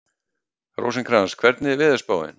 Rósinkrans, hvernig er veðurspáin?